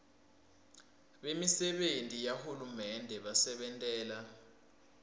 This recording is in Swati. bemisebenti yahulumende basebentela